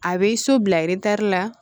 A bɛ so bila la